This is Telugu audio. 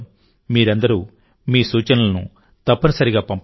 మీరందరూ మీ సూచనలను తప్పనిసరిగా పంపండి